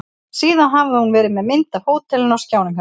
Síðan hafði hún verið með mynd af hótelinu á skjánum hjá sér.